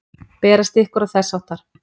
Berast ykkur. og þess háttar?